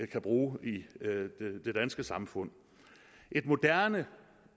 kan bruge i det danske samfund et moderne